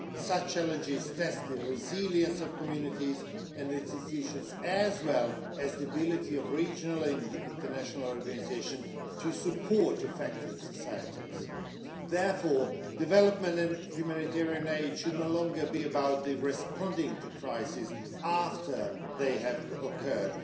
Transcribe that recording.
Such challenges test the resilience of communities and institutions as well as the ability of regional and international organisations to support affected societies. Therefore, development and humanitarian aid should no longer be about responding to crises after they have occurred.